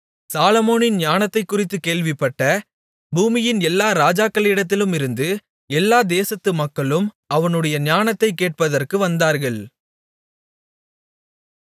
சாலொமோனின் ஞானத்தைக் குறித்துக் கேள்விப்பட்ட பூமியின் எல்லா ராஜாக்களிடத்திலுமிருந்தும் எல்லா தேசத்து மக்களும் அவனுடைய ஞானத்தைக் கேட்பதற்கு வந்தார்கள்